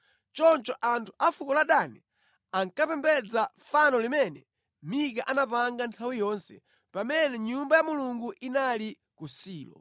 Choncho anthu a fuko la Dani ankapembedza fano limene Mika anapanga nthawi yonse pamene nyumba ya Mulungu inali ku Silo.